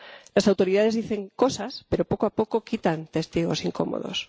Las autoridades dicen cosas pero, poco a poco, quitan testigos incómodos.